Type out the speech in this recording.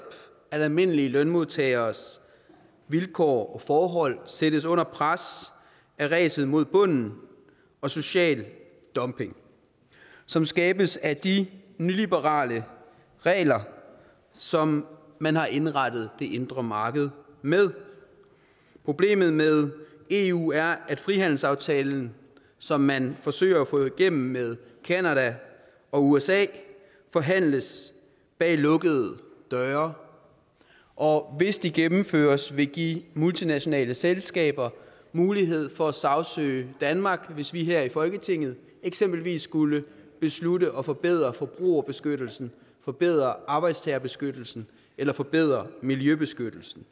at almindelige lønmodtageres vilkår og forhold sættes under pres af ræset mod bunden og social dumping som skabes af de nyliberale regler som man har indrettet det indre marked med problemet med eu er at frihandelsaftalen som man forsøger at få igennem med canada og usa forhandles bag lukkede døre og hvis de gennemføres vil de give de multinationale selskaber mulighed for at sagsøge danmark hvis vi her i folketinget eksempelvis skulle beslutte at forbedre forbrugerbeskyttelsen forbedre arbejdstagerbeskyttelsen eller forbedre miljøbeskyttelsen